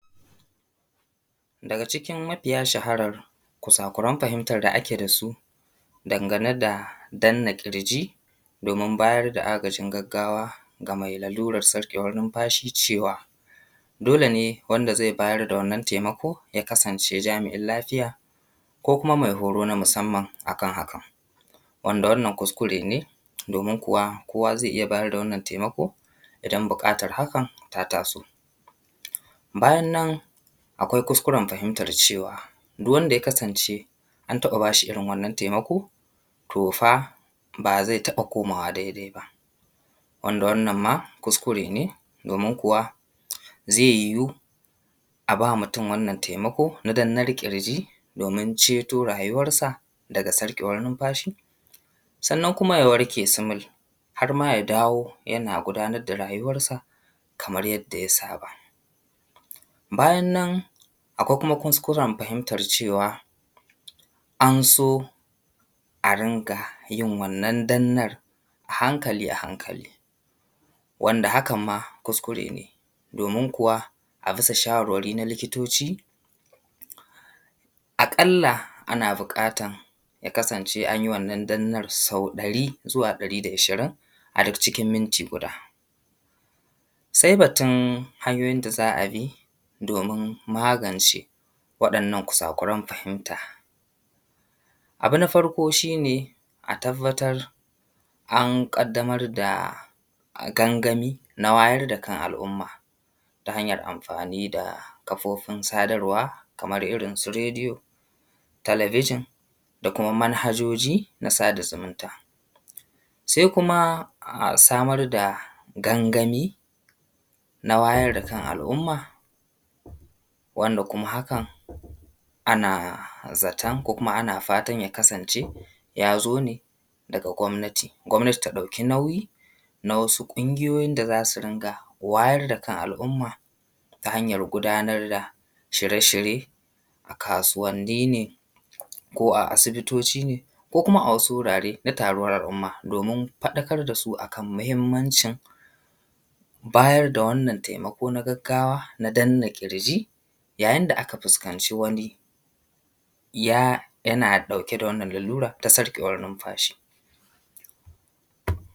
daga cikin mafiya shaharar kusakuran fahimtar da ake da su dangane da danna ƙirji domin bayar da agajin gaggawa ga mai larurar sarƙewar numfashi cewa dole ne wanda zai bayar da wannan taimako ya kasance jami’in lafiya ko kuma mai horo na musamman a kan hakan wanda wannan kuskure ne domin kuwa kowa zai iya bayar da wannan taimako idan buƙatar hakan ta taso bayan nan akwai kuskuren fahimtar cewa duk wanda ya kasance an taɓa ba shi wannan taimako to fa ba zai taɓa komawa daidai ba wanda wannan ma kuskure ne domin kuwa zai yiwu a ba mutum wannan taimako na dannar ƙirji domin ceto rayuwarsa daga sarƙewar numfashi sannan kuma ya warke sumul har ma ya dawo yana gudanar da rayuwarsa kamar yadda ya saba bayan nan akwai kuma kuskuren fahimtar cewa an so a ringa yin wannan dannar a hankali a hankali wanda hakan ma kuskure ne domin kuwa a bisa shawarwari na likitoci a ƙalla ana buƙatan ya kasance an yi wannan dannar a ƙalla sau ɗari zuwa ɗari da ashirin a cikin minti guda sai batun hanyoyin da za a bi domin magance waɗannan kusakuran fahimta abu na farko shi ne a tabbatar an ƙaddamar da gangami na wayar da kan al’umma ta hanyar amfani da kafofin sadarwa kamar irin su rediyo talabijin da kuma manhajoji na sada zumunta sai kuma samar da gangami na wayar da kan al’umma wanda kuma hakan ana zaton ko kuma ana fatan ya kasance ya zo ne daga gwamnati gwamnati ta ɗauki nauyi na wasu ƙungiyoyin da za su ringa wayar da kan al’umma ta hanyar gudanar da shirye shirye a kasuwanni ne ko a asibitoci ne ko kuma a wasu wurare na taruwar al’umma domin faɗakar da su a kan muhimmancin bayar da wannan taimako na gaggawa na danna ƙirji yayin da aka fuskanci wani ya yana ɗauke da wannan larura ta sarƙewar numfashi